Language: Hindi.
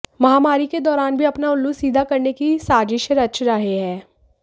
महामारी के दौरान भी अपना उल्लू सीधा करने की साजिशें रच रहे हैं